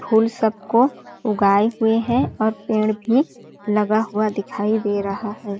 फूल सब को उगाये हुए है और पेड़ भी लगा हुआ दिखाई दे रहा हैं।